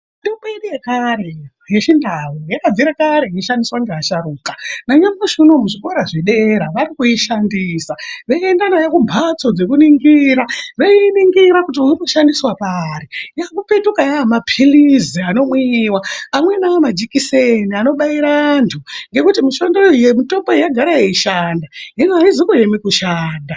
Mutombo yedu yekare yechindau yakabvira kare yeishandiswa ngeasharuka. Nanyamushi unou muzvikora zvedera vari kuishandisa, veienda nayo kumbatso dzekuningira veiiningira kuti uyu unoshandiswa pari. Yozopetuka yaa mapilizi anomwiwa, amweni aa majikiseni anobaira antu ngekuti mutomboyo yagara yeishanda, hino aizi kueme kushanda.